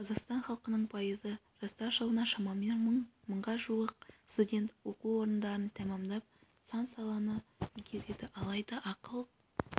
қазақстан халқының пайызы жастар жылына шамамен мыңға жуық студент оқу орындарын тәмамдап сан-саланы игереді алайда ақыл